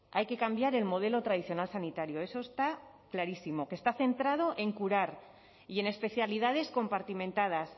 hay que cambiar el modelo tradicional sanitario eso está clarísimo que está centrado en curar y en especialidades compartimentadas